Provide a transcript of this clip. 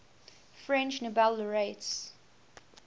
french nobel laureates